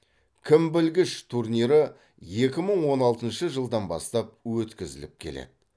кім білгіш турнирі екі мың он алтыншы жылдан бастап өткізіліп келеді